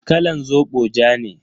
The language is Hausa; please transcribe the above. Kalan zobo ja ne.